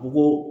Bugun